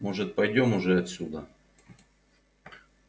может пойдём уже отсюда